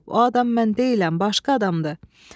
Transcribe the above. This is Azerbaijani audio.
O adam mən deyiləm, başqa adamdır.